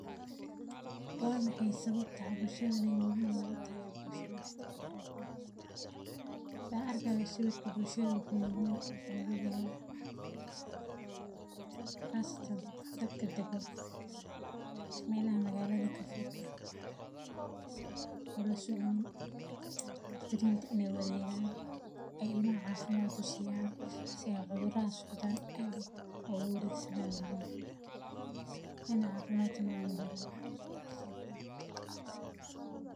Waa maxay sababta hawshani muhiim ugu tahay bulshada dhexdeeda. Saakay sawirka bulshada wuxuu muhiim hogaaya khaasatan dadka dagoo meylaha magaalada ka fog oo la soconin waqtigiintu inay wareegaan ay ilma caafimaad u siiyaan si ay cudur raas u daan ay uga wareegsadaan ilmaha in caafimaad ma muhilaan.